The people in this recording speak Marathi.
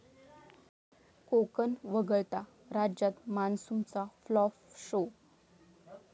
कोकण वगळता राज्यात मान्सूनचा फ्लॉप शो!